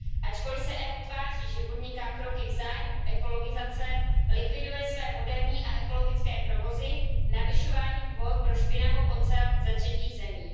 Ačkoliv se Evropská unie tváří, že podniká kroky v zájmu ekologizace, likviduje své moderní a ekologické provozy navyšováním kvót pro špinavou ocel ze třetích zemí.